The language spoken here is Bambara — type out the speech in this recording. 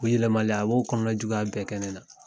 U yɛlɛmali, a b'o kɔnɔ juguya bɛɛ kɛ ne na.